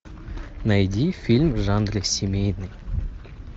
найди фильм в жанре семейный